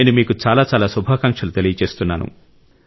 నేను మీకు చాలా చాలా శుభాకాంక్షలు తెలియజేస్తున్నాను